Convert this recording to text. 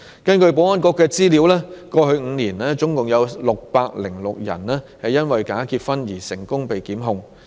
根據保安局的資料，過去5年共有606人因為假結婚而成功被檢控。